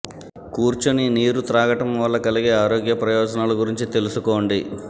కూర్చొని నీరు త్రాగటం వల్ల కలిగే ఆరోగ్య ప్రయోజనాల గురించి తెలుసుకోండి